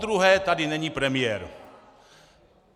Podruhé tady není premiér.